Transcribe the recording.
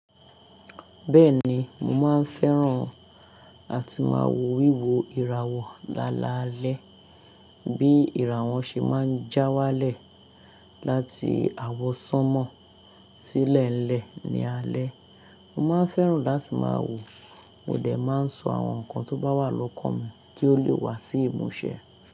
Bẹ́ẹ̀ni, mo máa ń fẹ́ràn àti máa wo wíwo ìràwọ̀ lálaalẹ́, bí ìràwọ̀ ṣe máa ń já wálẹ̀ láti àwọsánmọ́ sílẹ̀ lẹ́ ni alẹ́. Mo máa ń fẹ́ràn láti máa wò, mo dẹ̀ máa ń sọ àwọn nǹkan tó bá wà lọ́kàn mi kí ó lè wá sí ìmúṣẹ.